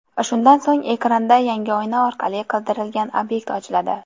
Shundan so‘ng, ekranda yangi oyna orqali qidirilgan obyekt ochiladi.